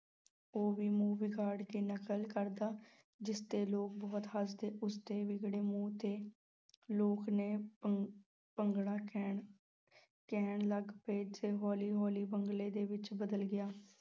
ਉਹ ਵੀ ਮੂੰਹ ਵਿਗਾੜ ਕੇ ਨਕਲ ਕਰਦਾ, ਜਿਸ 'ਤੇ ਲੋਕ ਬਹੁਤ ਹੱਸਦੇ, ਉਸ ਦੇ ਵਿਗੜੇ ਮੂੰਹ 'ਤੇ ਲੋਕ ਨੇ ਕਹਿਣ, ਕਹਿਣ ਲੱਗ ਪਏ ਤੇ ਹੌਲੀ-ਹੌਲੀ ਬੰਗਲੇ ਦੇ ਵਿੱਚ ਬਦਲ ਗਿਆ।